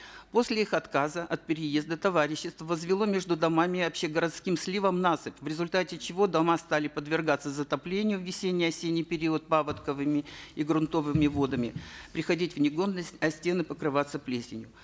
после их отказа от переезда товарищество возвело между домами и общегородским сливом насыпь в результате чего дома стали подвергаться затоплению в весенне осенний период паводковыми и грунтовыми водами приходить в негодность а стены покрываться плесенью